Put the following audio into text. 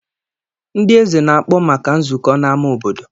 Ndị eze na-akpọ maka nzukọ n'ámá obodo.